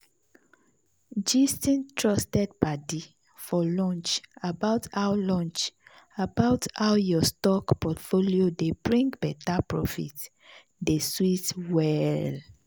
gisting trusted padi for lunch about how lunch about how your stock portfolio dey bring better profit dey sweet well.